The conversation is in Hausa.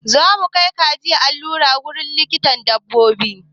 Zamu kai kajin allura wurin likitan dabbobi.